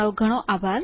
તમારો ઘણો આભાર